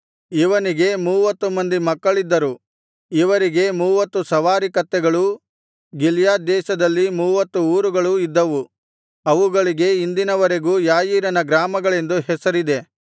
ಇವನಿಗೆ ಮೂವತ್ತು ಮಂದಿ ಮಕ್ಕಳಿದ್ದರು ಇವರಿಗೆ ಮೂವತ್ತು ಸವಾರಿ ಕತ್ತೆಗಳೂ ಗಿಲ್ಯಾದ್ ದೇಶದಲ್ಲಿ ಮೂವತ್ತು ಊರುಗಳೂ ಇದ್ದವು ಅವುಗಳಿಗೆ ಇಂದಿನ ವರೆಗೂ ಯಾಯೀರನ ಗ್ರಾಮಗಳೆಂದು ಹೆಸರಿದೆ